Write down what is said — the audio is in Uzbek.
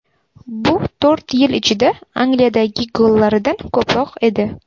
Bu to‘rt yil ichida Angliyadagi gollaridan ko‘proq edi.